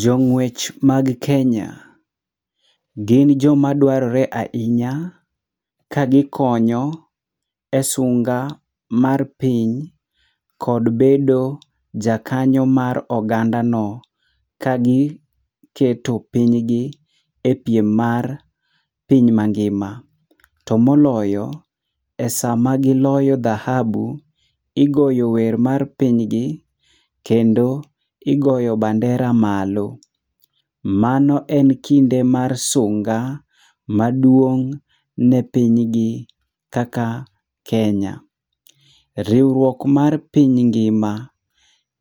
Jong'uech mag Kenya gin joma dwarore ahinya kagikonyo esunga mar piny kod bedo jakanyo mar ogandano ka giketo pinygi epiem mar piny mangima. To moloyo, esama giloyo dhahabu, igoyo wer mar piny gi, kendo igoyo bandera malo. Mano en kinde mar sunga maduong' ne pinygi kaka Kenya. Riwruok mar piny ngima,